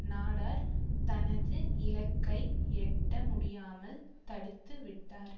நாடார் தனது இலக்கை எட்ட முடியாமல் தடுத்துவிட்டார்